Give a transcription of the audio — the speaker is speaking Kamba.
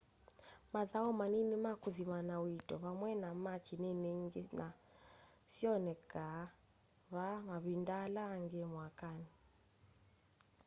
mathau manini ma kuthimana uito vamwe na machi nini ingi no syoneke vaa mavinda ala angi mwakani